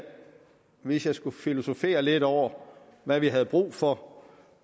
hvis jeg skulle filosofere lidt over hvad vi havde brug for